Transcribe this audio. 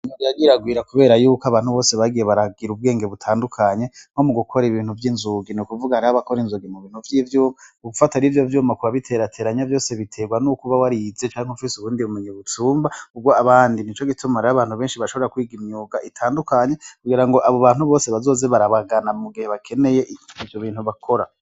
Nyagiragwira, kubera yuko abantu bose bagiye baragira ubwenge butandukanye mwo mu gukora ibintu vy'inzuga n' ukuvuga na rabakora inzogi mu bintu vy'ivyuma ugufata r'ivyo vyuma kuba biterateranya vyose biterwa n'ukuba wariize canke umfise ubundi bumunyebutumba urwo abandi ni co gitumrar' abantu benshi bashobora kwiga imyuga itandukanye kugira ngo abo bantu bose bazozi barabagana ugihe bakeneye ivyo bintu bakora.